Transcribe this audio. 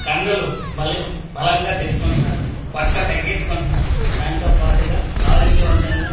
కండలు బలేవంక బలంగా తెచ్చుకుంటున్నారు పొట్ట తగ్గించుకుంటున్నారు దానితో పాటుగా ఆరోగ్యవంతంగా మానస్ ప--